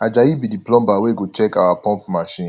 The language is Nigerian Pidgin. ajayi be the plumber wey go check our pump machine